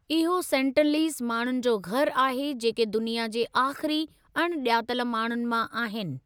इहो सेंटिनलीज माण्हुनि जो घरु आहे जेके दुनिया जे आख़िरी अणॼातल माण्हुनि मां आहिनि।